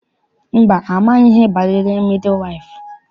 Mba, amaghị m ihe banyere midi waịfụ.